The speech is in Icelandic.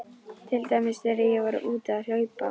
Til dæmis þegar ég var úti að hlaupa.